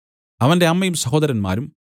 അവന്റെ അമ്മയും സഹോദരന്മാരും